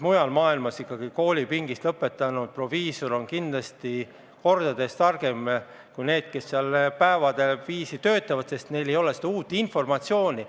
Mujal maailmas ikkagi on ka nii, et koolipingist tulnud, äsja lõpetanud proviisor on kindlasti kordades targem kui need, kes päevade viisi töötavad, sest neil ei ole uut informatsiooni.